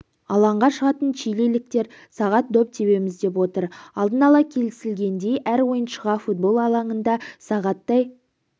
алаңға шығатын чилиліктер сағат доп тебеміз деп отыр алдын ала келісілгендей әр ойыншыға футбол алаңында сағаттай